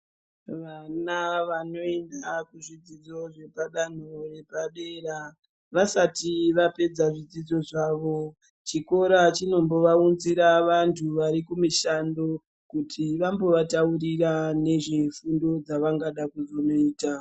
Vana vanopinda kuzvidzidzo zvepadanowo yepadera vasati vapedza zvidzidzo zvavo chikora chinombovaunzira vandu vari kumishando kuti vambova taurira nezve fundo dzavangada kuzoita.